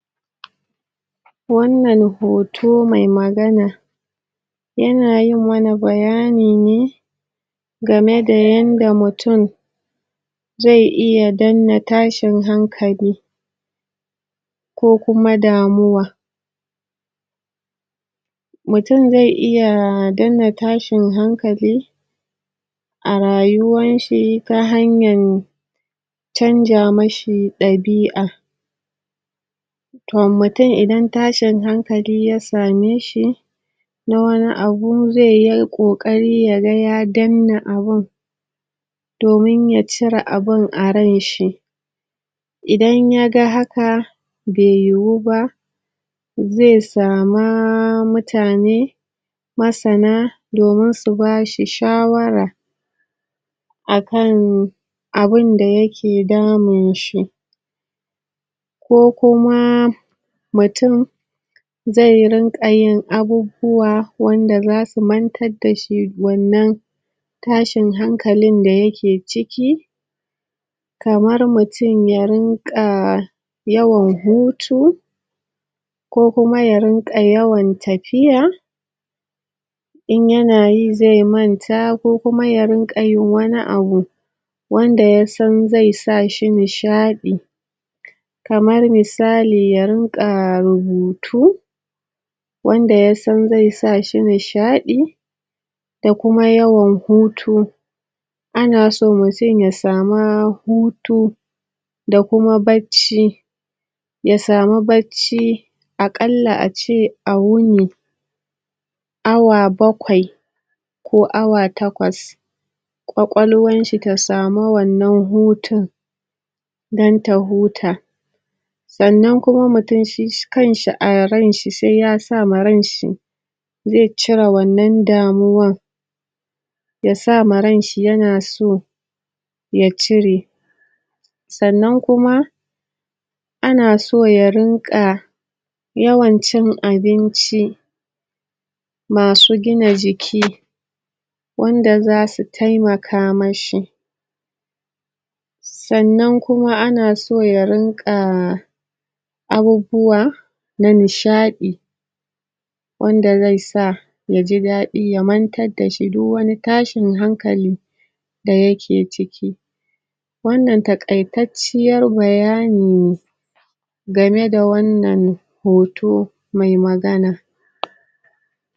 Wannan hoto mai magana ya na yin wa na bayani ne game da yanda mutum zai iya denna tashin hankali ko kuma damuwa mutum zai iya denna tashin hankali a rayuwar shi ga hanyan canja mashi dabia toh mutum idan tashin hankali ya same shi na wani abu zai yi kokari ya ga ya denna abun domin ya cira abun a rai'n shi idan ya ga haka, bai yiwu ba zai sama mutane masana, domin su bashi shawara a kan abunda ya ke damun shi ko kuma, mutum zai rinka yi abubuwa wanda za su mantar da shi wannan tashin hankali da ya ke ciki kamar mutum ya rinka yawan hutu ko kuma ya rinka yawan tafiya in yana yi, zai manta ko kuma ya rinka yin wani abu wanda ya san zai sa shi nishadi kamar misali ya rinka rubutu wanda ya san zai sa shi nishadi da kuma yawan hutu a na so mutum ya sama hutu da kuma bacci ya samu bacci a kalla a ce a wuni awa bakwai ko awa takwas kwakwalwar shi ta samu wannan hutun dan ta huta. Tsannan kuma mutum shi kan shi a rai'n shi sai ya sa ma rai'n shi zai cire wannan damuwar ya sa ma rai'n shi ya na so ya cire tsannan kuma ana so ya rinka yawan cin abinci masu gina jiki wanda za su taimaka mashi. Tsannan kuma, a na so ya rinka abubuwa na nishadi wanda zai sa ya ji dadi ya mantar da shi duk wani tashin hankali da ya ke ciki wannan takai-tacciyar bayani ne game da wannan hoto mai magana.